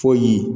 Fɔ ye